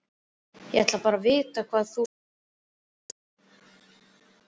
Ég ætlaði bara að vita hvað þú segðir.